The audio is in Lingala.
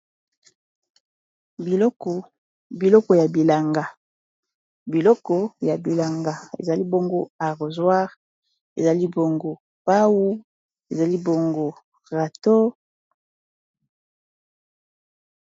Biloko ya bilanga ezali bongo arrossoir, ezali bongo pau, ezali bongo rato.